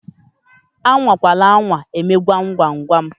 A nwakwara anwa eme gwam gwam gwam!